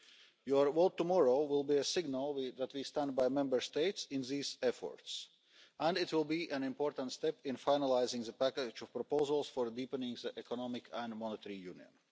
Your vote tomorrow will be a signal that we stand by Member States in these efforts, and it will be an important step in finalising the package of proposals for deepening economic and monetary union.